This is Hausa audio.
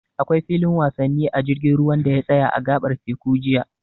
Akwai filin wasanni a jirgin ruwan da ya tsaya a a gaɓar teku jiya.